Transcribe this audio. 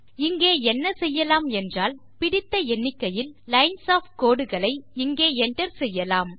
இங்கே என்ன செய்யலாம் என்றால் பிடித்த எண்ணிக்கையில் லைன்ஸ் ஒஃப் கோடு களை இங்கே enter செய்யலாம்